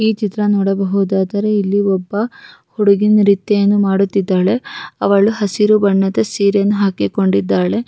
ಈ ಚಿತ್ರ ನೋಡಬಹುದಾದರೆ ಇಲ್ಲಿ ಒಬ್ಬ ಹುಡುಗಿನ ನೃತ್ಯವನ್ನು ಮಾಡುತ್ತಿದ್ದಾಳೆ ಅವಳು ಹಸಿರು ಬಣ್ಣದ ಸೀರೆಯನ್ನು ಹಾಕಿಕೊಂಡಿದ್ದಾಳೆ.